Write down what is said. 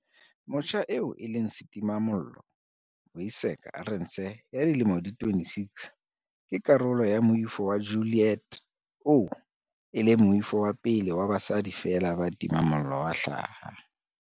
Motjha eo e leng setimamollo, Vuyiseka Arendse ya dilemo di 26, ke karolo ya Moifo wa Ju-liet oo e leng moifo wa pele wa basadi feela ba timang mollo wa hlaha.